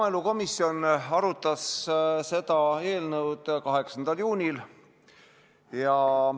Maaelukomisjon arutas seda eelnõu 8. juunil.